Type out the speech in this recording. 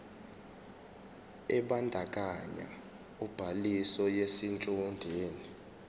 ebandakanya ubhaliso yesitshudeni